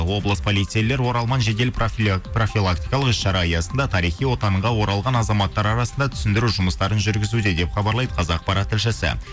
облыс полицейлер оралман жедел профилактикалық іс шара аясында тарихи отанға оралған азаматтар арасында түсіндіру жұмыстарын жүргізуде деп хабарлайды қазақпарат тілшісі